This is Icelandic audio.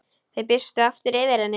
Það birti aftur yfir henni.